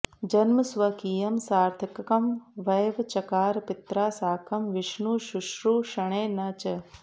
जन्म स्वकीयं सार्थकं वै चकार पित्रा साकं विष्णुशुश्रूषणे न च